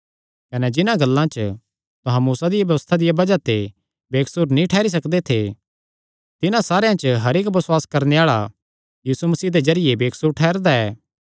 कने जिन्हां गल्लां च तुहां मूसा दिया व्यबस्था दिया बज़ाह ते बेकसूर नीं ठेरी सकदे थे तिन्हां सारेयां च हर इक्क बसुआस करणे आल़ा यीशु मसीह दे जरिये बेकसूर ठैहरदा ऐ